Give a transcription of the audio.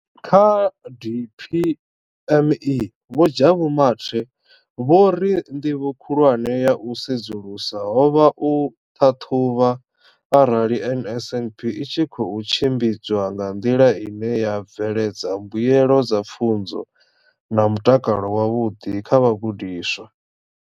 Kha DPME, vho Jabu Mathe, vho ri ndivho khulwane ya u sedzulusa ho vha u ṱhaṱhuvha arali NSNP i tshi khou tshimbidzwa nga nḓila ine ya bveledza mbuelo dza pfunzo na mutakalo wavhuḓi kha vhagudiswa.